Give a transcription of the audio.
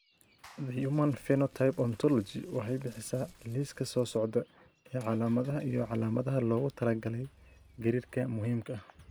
The Human Phenotype Ontology waxay bixisaa liiska soo socda ee calaamadaha iyo calaamadaha loogu talagalay Gariirka Muhiimka ah.